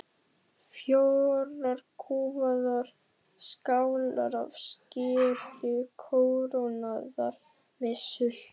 Fjórar kúfaðar skálar af skyri kórónaðar með sultu.